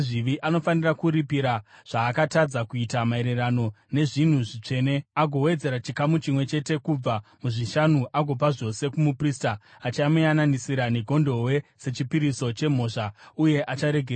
Anofanira kuripira zvaakatadza kuita maererano nezvinhu zvitsvene, agowedzera chikamu chimwe chete kubva muzvishanu agopa zvose kumuprista, achamuyananisira negondobwe sechipiriso chemhosva, uye acharegererwa.